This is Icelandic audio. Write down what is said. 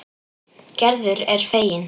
Gerður er fegin.